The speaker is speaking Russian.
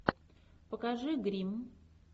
покажи гримм